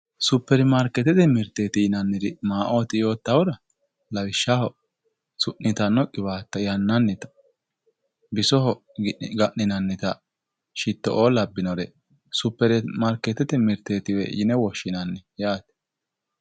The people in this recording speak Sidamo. Superimaarkeetete mirte maa'ooti yottahura lawishshaho su'niitanno qiwaatta yannannita bisoho ga'ninannita shitto'oo labbinore superimaarkeetete mirteetiwe yine woshshinani.